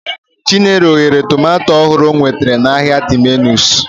Chinelo ghere tomato ọhụrụ o nwetara n'ahịa Terminus.